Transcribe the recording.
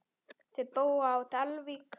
Þau búa á Dalvík.